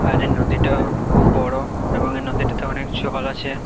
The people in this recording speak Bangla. আর এই নদীটা-আ খুব বড়ো এবং এই নদীটিতে অনেক জল আছে ।